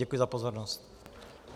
Děkuji za pozornost.